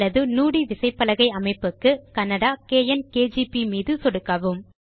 அல்லது நுடி விசைப்பலகை அமைப்புக்கு கன்னடா - கேஎன் கேஜிபி மீது சொடுக்கவும்